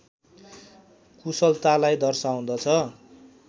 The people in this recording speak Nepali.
कुशलतालाई दर्शाउँदछ।